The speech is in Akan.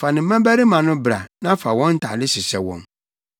Fa ne mmabarima no bra na fa wɔn ntade hyehyɛ wɔn.